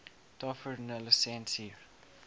tavernelisensier